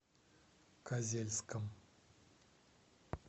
козельском